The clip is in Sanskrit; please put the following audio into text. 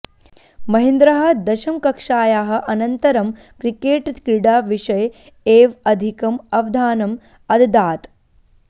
महेन्द्रः दशमकक्ष्यायाः अनन्तरं क्रिकेट्क्रीडाविषये एव अधिकम् अवधानम् अददात्